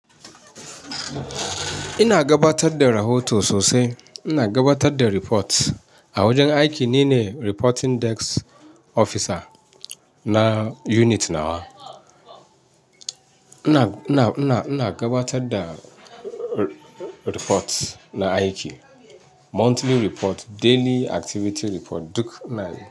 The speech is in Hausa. Ina gabatar da rahoto sosai. Ina gabatar da report a wajen aiki nine reporting desk officer na unit nawa. Ina, ina, ina gabatar da report na aiki. Monthly report, daily activity report duk inayi.